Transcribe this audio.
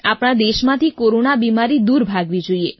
આપણા દેશમાંથી કોરોના બીમારી દૂર ભાગવી જોઈએ